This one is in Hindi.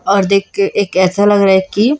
और देख के एक ऐसा लग रहा है कि--